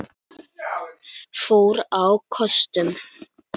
fór á kostum.